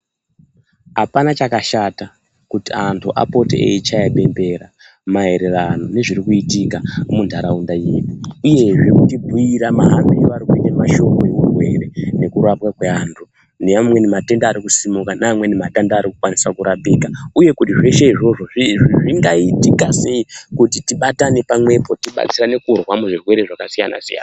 Hapana chakashata kuti antu apote eyichaya bembera maererano nezviri kuitika muntaraunda ineyi, uyezve kutibhuyira mahambiro ari kuite mashoko eurwere nekurapwa kweantu, neamweni matenda ari kusimuka, neamweni matenda ari kukwanisa kurapika uye kuti zveshe izvozvo zvingaitika sei kuti tibatane pamwepo kuti tibatirane kurwa muzvirwere zvakasiyana-siyana.